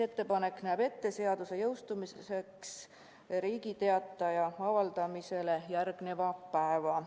Ettepanek näeb ette, et seadus jõustub Riigi Teatajas avaldamisele järgneval päeval.